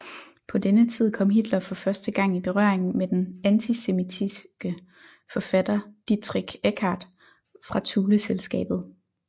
På denne tid kom Hitler for første gang i berøring med den antisemitiske forfatter Dietrich Eckart fra Thuleselskabet